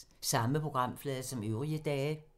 Samme programflade som øvrige dage